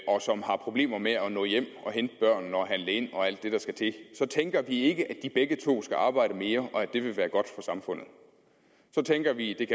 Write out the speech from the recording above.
og som har problemer med at nå hjem og hente børnene og handle ind og alt det der skal til så tænker vi ikke at de begge to skal arbejde mere og at det vil være godt for samfundet så tænker vi at